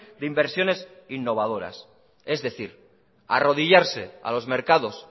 de inversiones innovadoras es decir arrodillarse a los mercados